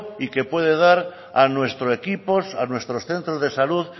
y que puede dar a nuestro equipo a nuestros centros de salud